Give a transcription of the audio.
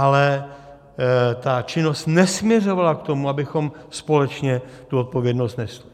Ale ta činnost nesměřovala k tomu, abychom společně tu odpovědnost nesli.